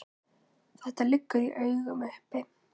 Þetta liggur í augum uppi.